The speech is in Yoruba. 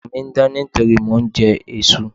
Àwọ̀ mi ń dán nítorí mò ń jẹ èso.